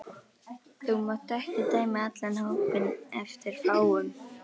Þú mátt ekki dæma allan hópinn eftir fáum.